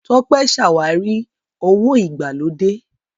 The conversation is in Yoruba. Tọ́pé ṣàwárí owó ìgbàlódé.